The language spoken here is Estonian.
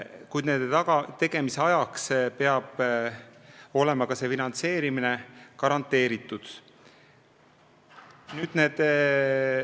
Kuid nende tegemise ajaks peab see finantseerimine garanteeritud olema.